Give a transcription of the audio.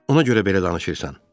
Ona görə belə danışırsan.